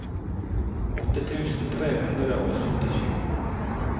åtte tusen tre hundre og syttisju